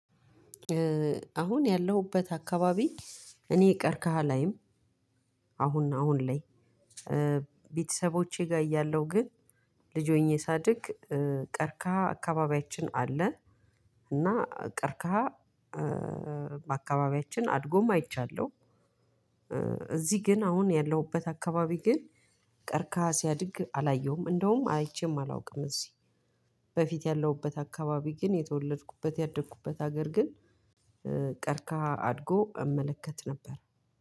አሁን ያለሁበት አካባቢ እኔ ቀርከሃ አላይም። አሁን አሁን ላይ እ ቤተሰቦቼ ጋር እያለሁ ግን ልጅ ሆኜ ሳድግ እ ቀርካ አካባቢያችን አለ። እና ቀርከሃ እ በአካባቢያችን አድጎም አይቻለሁ። እ እዚህ ግን አሁን ያለሁበት አካባቢ ግን ቀርከሃ ሲያድግ አላየሁም እንደውም አይቼም አላውቅም። እዚህ በፊት ያለሁበት አካባቢ ግን የተወለድኩበት ያደግኩበት ሀገር ግን እ ቀርከሃ አድጎ እመለከት ነበር